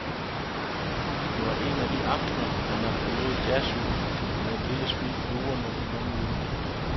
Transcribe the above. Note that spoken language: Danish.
Det var en af de aftener, hvor man forlod jazzhuset med et lille smil lurende i mundvigen.